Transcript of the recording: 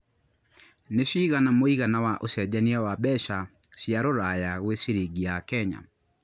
nĩ cigana mũigana wa ũcenjanĩa wa mbeca cia rũraya gwĩ ciringi ya Kenya